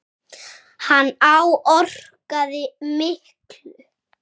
Hann áorkaði miklu.